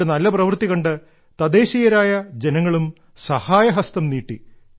അവരുടെ നല്ല പ്രവൃത്തി കണ്ട് തദ്ദേശീയരായ ജനങ്ങളും സഹായഹസ്തം നീട്ടി